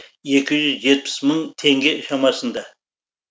екі жүз жетпіс мың теңге шамасында